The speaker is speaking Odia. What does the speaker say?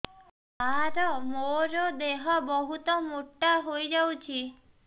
ସାର ମୋର ଦେହ ବହୁତ ମୋଟା ହୋଇଯାଉଛି